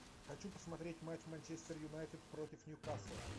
хочу посмотреть матч манчестер юнайтед против ньюкасла